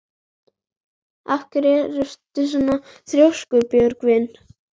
Af hverju ertu svona þrjóskur, Björgvin?